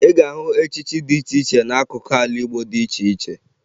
Ị ga-ahụ echichi dị iche iche n'akụkụ ala Igbo dị iche iche